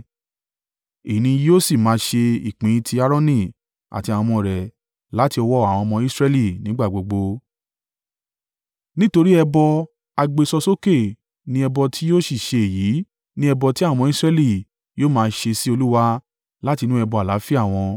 Èyí ni yóò sì máa ṣe ìpín ti Aaroni àti àwọn ọmọ rẹ̀ láti ọwọ́ àwọn ọmọ Israẹli nígbà gbogbo. Nítorí ẹbọ à gbé sọ sókè ni ẹbọ tí yóò ṣì ṣe èyí ni ẹbọ tí àwọn ọmọ Israẹli yóò máa ṣe sí Olúwa láti inú ẹbọ àlàáfíà wọn.